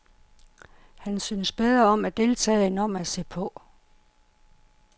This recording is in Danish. Han synes bedre om at deltage end om at se på.